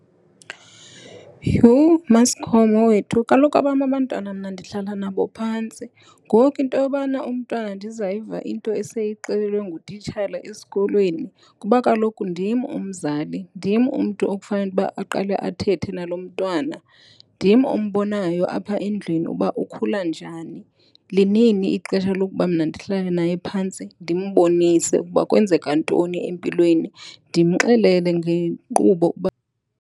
Yhu, MaSikhomo, wethu kaloku abam abantwana mna ndihlala nabo phantsi. Ngoku into yobana umntwana ndizayiva into eseyixelelwe ngutitshala esikolweni. Kuba kaloku ndim umzali. Ndim umntu okufanele ukuba aqale athethe nalo mntwana. Ndim ombonayo apha endlwini uba ukhula njani. Linini ixesha lokuba mna ndihlale naye phantsi ndimbonise ukuba kwenzeka ntoni empilweni ndimxelele ngenkqubo uba .